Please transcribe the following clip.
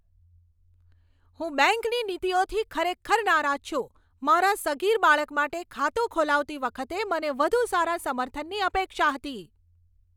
હું બેંકની નીતિઓથી ખરેખર નારાજ છું. મારા સગીર બાળક માટે ખાતું ખોલાવતી વખતે મને વધુ સારા સમર્થનની અપેક્ષા હતી.